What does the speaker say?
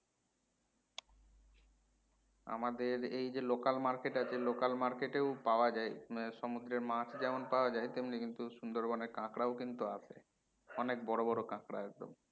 আমাদের এই যে local market আছে local market এও পাওয়া যায় সমুদ্রের মাছ যেমন পাওয়া যাই তেমনি কিন্তু সুন্দরবন এর কাঁকড়াও কিন্ত আসে অনেক বড়ো বড়ো কাঁকড়া একদম